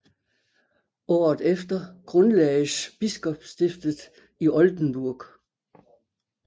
Året efter grundlagdes biskopstiftet i Oldenburg